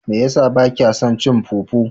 Mai yasa bakya son cin fufu?